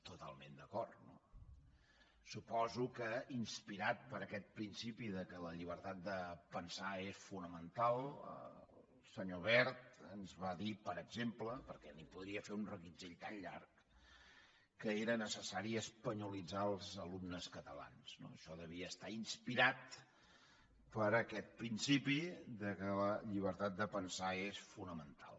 totalment d’acord no suposo que inspirat per aquest principi que la llibertat de pensar és fonamental el senyor wert ens va dir per exemple perquè n’hi podria fer un reguitzell tan llarg que era necessari espanyolitzar els alumnes catalans no això devia estar inspirat per aquest principi que la llibertat de pensar és fonamental